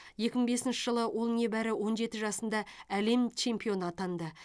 екі мың бесінші жылы ол небәрі он жеті жасында әлем чемпионы атанды